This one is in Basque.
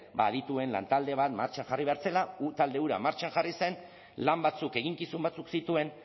ba adituen lantalde bat martxan jarri behar zela talde hura martxan jarri zen lan batzuk eginkizun batzuk zituen